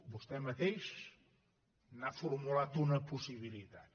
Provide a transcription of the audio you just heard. vostè mateix n’ha formulat una possibilitat